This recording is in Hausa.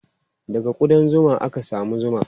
Daga kuɗan zuma ake samun zuma.